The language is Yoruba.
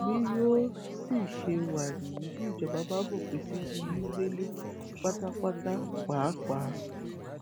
bí yóò sì ṣe wá níyì bí ìjọba bá fòpin sí onígbélé pátápátá pàápàá